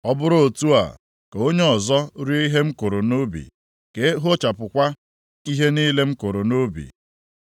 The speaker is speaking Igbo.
ọ bụrụ otu a, ka onye ọzọ rie ihe m kụrụ nʼubi, ka e hopuchakwa ihe niile m kụrụ nʼubi.